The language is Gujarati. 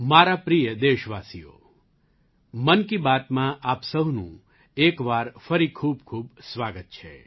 મારા પ્રિય દેશવાસીઓ મન કી બાતમાં આપ સહુનું એક વાર ફરી ખૂબખૂબ સ્વાગત છે